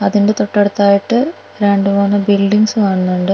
അതിൻ്റെ തൊട്ടടുത്തായിട്ട് രണ്ട് മൂന്ന് ബിൽഡിംഗ്സ് കാണുന്നുണ്ട്.